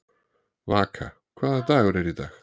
Vaka, hvaða dagur er í dag?